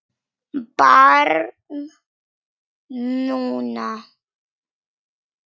Barn núna.